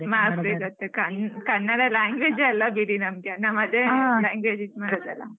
Mark ಸಿಗತ್ತೆ Kannada language ಅಲ್ಲ ಬಿಡಿ ನಮ್ಗೆ ಅದೇ language ಇದ್ ಮಾಡುದಲ್ಲ.